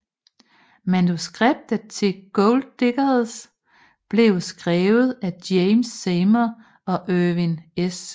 Manuskriptet til Gold Diggers blev skrevet af James Seymour og Erwin S